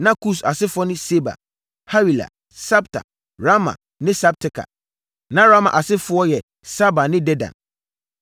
Na Kus asefoɔ ne Seba, Hawila, Sabta, Raama ne Sabteka. Na Raama asefoɔ yɛ Saba ne Dedan.